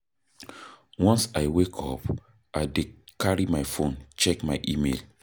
Once I wake up, I dey carry my fone check my email.